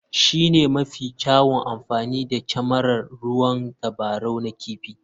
Shi ne mafi kyawun amfani da kyamarar ruwan tabarau na kifi.